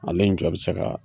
Ale njɔ bɛ se ka